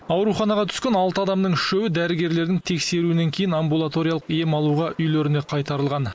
ауруханаға түскен алты адамның үшеуі дәрігерлердің тексеруінен кейін амбулаториялық ем алуға үйлеріне қайтарылған